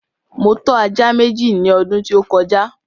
Mo tọ́ ajá Méjì ní ọdún tí ó kọjá